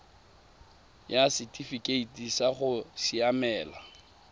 ya setifikeite sa go siamela